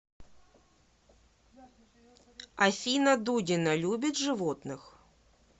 афина дудина любит животных